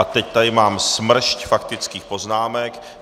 A teď tady mám smršť faktických poznámek.